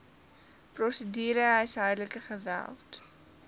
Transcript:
prosedure huishoudelike geweld